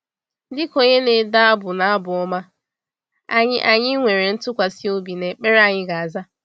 Dịka onye na-ede abụ n’Abụ Ọma, anyị anyị nwere ntụkwasị obi na ekpere anyị ga-aza.